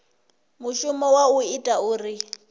mushumo wa u ita uri